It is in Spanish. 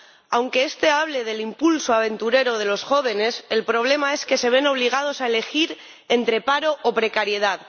Aunque este hable del impulso aventurero de los jóvenes, el problema es que se ven obligados a elegir entre paro o precariedad.